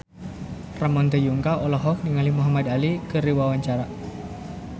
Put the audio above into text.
Ramon T. Yungka olohok ningali Muhamad Ali keur diwawancara